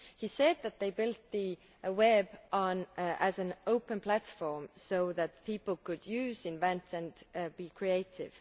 He said that they built the web as an open platform so that people could use, invent and be creative.